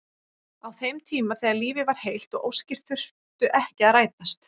Á þeim tíma þegar lífið var heilt og óskir þurftu ekki að rætast.